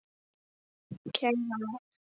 Kæra Martha.